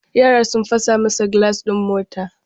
Yara sun fasa masa gilashin mota.